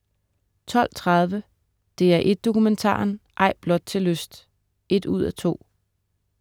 12.30 DR1 Dokumentaren, Ej blot til lyst 1:2*